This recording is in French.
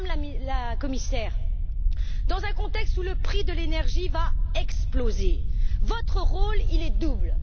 Alors, Madame la Commissaire, dans un contexte où le prix de l'énergie va exploser, votre rôle est double.